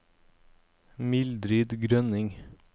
Mildrid Grønning